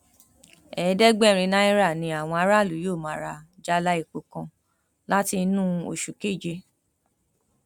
ẹẹdẹgbẹrin náírà ni àwọn aráàlú yóò máa rà jálá epo kan láti inú oṣù keje